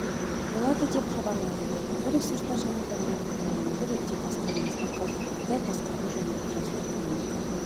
болады деп хабарлады табиғи ресурстар және табиғат пайдалануды реттеу басқармасының қалдықтарды басқару және жасыл экономика